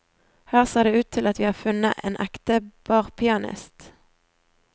Her ser det ut til at vi har funnet en ekte barpianist.